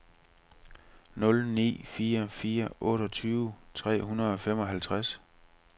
nul ni fire fire otteogtyve tre hundrede og femoghalvtreds